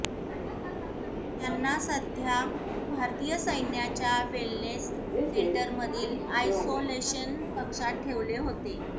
त्यांना सध्या भारतीय सैन्याच्या वेलनेस सेंटरमधील आयसोलेशन कक्षात ठेवले होते